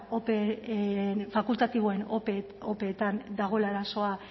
fakultatiboen opeetan dagoela arazoa